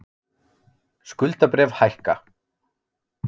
Skuldabréf hækka